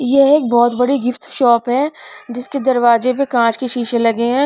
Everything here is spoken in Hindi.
ये एक बहुत बड़ी गिफ्ट शॉप है जिसके दरवाजे पर कांच के शीशे लगे हैं.